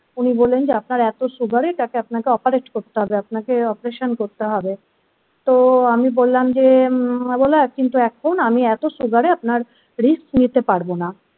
উনি বললেন যে আপনার এতো sugar এটাকে আপনাকে operate করতে হবে আপনাকে operation করতে হবে তো আমি বললাম যে বলো কিন্তু এখন আমি এত সুগারে আপনার রিস্কনিতে পারবো না।